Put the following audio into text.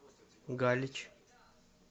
галич